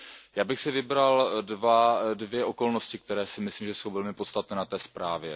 Já bych si vybral dvě okolnosti, které si myslím, že jsou velmi podstatné na té zprávě.